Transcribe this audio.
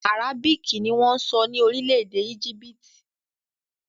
Àrábíìkì ni wọ́n ń sọ ní orílẹ̀-èdè Égípítì